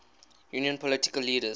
union political leaders